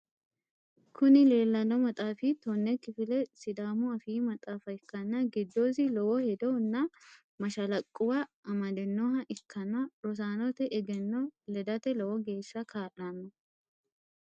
Kuni leellanno maxaafi tonne kifileha sidaamu afii maxaafa ikkanna giddosi lowo hedo nna mashalaqquwa amadinnoha ikkanna rosanote egenno ledate lowo geeshsa ka'lanno.